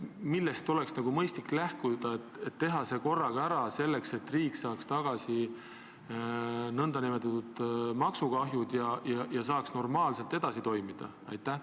Millest oleks ikkagi mõistlik lähtuda, et teha see rehkendus korraga ära, nii et riik saaks oma maksukahjudest lahti ja normaalselt edasi toimida?